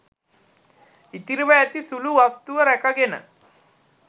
ඉතිරිව ඇති සුළු වස්තුව රැකගෙන